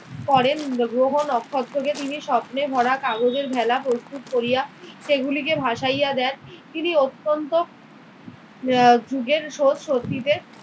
করেন। গ্রহ-নক্ষত্রকে তিনি স্বপ্নে ভরা কাগজের ভেলা প্রস্তুত করিয়া সেগুলিকে ভাসাইয়া দেন। তিনি অত্যন্ত আহ যুগের স্রোত শক্তিতে